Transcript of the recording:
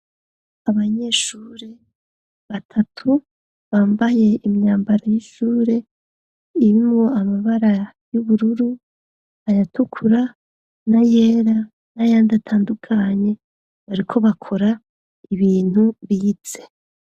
Abanyeshuri batatu bambaye imyambaro y'ishure irimwo amabara y'ubururu, ayatukura na yera n'ayandi atandukanye bariko bakora ibintu bize.